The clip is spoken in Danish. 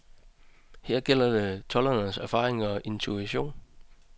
Her gælder det toldernes erfaring og intuition.